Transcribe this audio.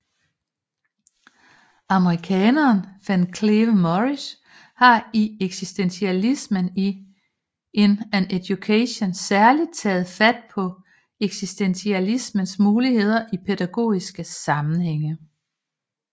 Amerikaneren Van Cleve Morris har i Existentialism in Education særligt taget fat på eksistentialismens muligheder i pædagogiske sammenhænge